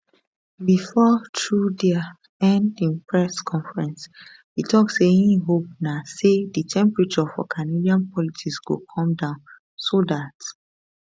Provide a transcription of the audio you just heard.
bifor trudeau end im press conference e tok say im hope na say di temperature for canadian politics go come down so dat